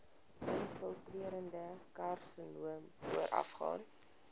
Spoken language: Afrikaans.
infiltrerende karsinoom voorafgaan